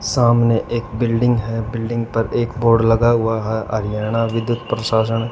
सामने एक बिल्डिंग है बिल्डिंग पर एक बोर्ड लगा हुआ है ह हरियाणा विद्युत प्रशासन--